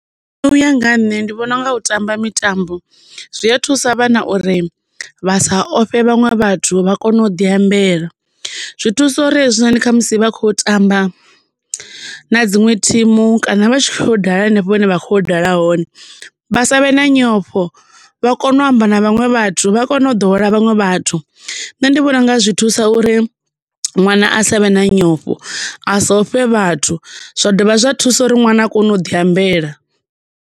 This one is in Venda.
Nṋe uya nga nṋe ndi vhona unga u tamba mitambo zwi a thusa vhana uri vha sa ofhe vhaṅwe vhathu vha kone u ḓi ambela. Zwi thusa uri hezwinoni kha musi vha khou tamba na dziṅwe thimu kana vha tshi kho dala henefho hune vha khoya u dala hone vha savhe na nyofho vha kone u amba na vhaṅwe vhathu, vha kone u ḓowela vhaṅwe vhathu. Nṋe ndi vhona unga zwi thusa uri ṅwana a savhe na nyofho, asa ofhe vhathu zwa dovha zwa thusa uri ṅwana a kone u ḓi ambela.